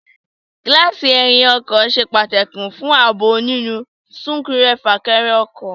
Gíláàsì ẹyìn ọkọ̀ ṣe pàtàkì fún ààbò nínú súnkẹrẹ- fàkẹrẹ ọkọ̀